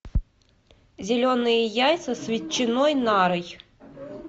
зеленые яйца с ветчиной нарой